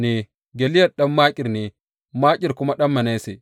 Gileyad ɗan Makir ne, Makir kuma ɗan Manasse.